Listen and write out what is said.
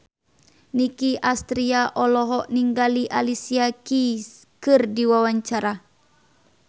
Nicky Astria olohok ningali Alicia Keys keur diwawancara